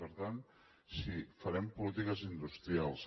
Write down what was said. per tant sí farem polítiques industrials